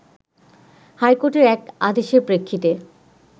হাইকোর্টের এক আদেশের প্রেক্ষিতে